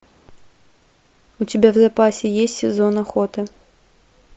у тебя в запасе есть сезон охоты